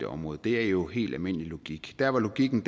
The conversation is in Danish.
det område det er jo helt almindelig logik der hvor logikken